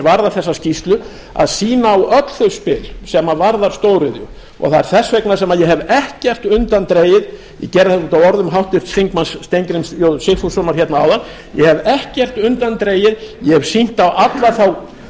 varðar þessa skýrslu að sýna á öll þau spil sem varða stóriðju það er þess vegna sem ég hef ekkert undandregið ég gerði þetta út af orðum háttvirts þingmanns steingríms j sigfússonar hérna áðan ég hef ekkert undandregið ég hef sýnt á alla þá